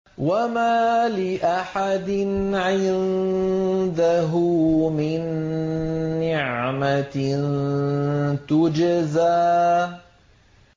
وَمَا لِأَحَدٍ عِندَهُ مِن نِّعْمَةٍ تُجْزَىٰ